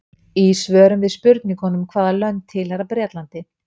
Í svörum við spurningunum Hvaða lönd tilheyra Bretlandi?